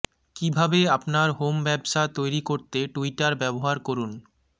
কিভাবে আপনার হোম ব্যবসা তৈরি করতে টুইটার ব্যবহার করুন